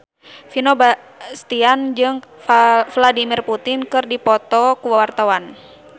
Vino Bastian jeung Vladimir Putin keur dipoto ku wartawan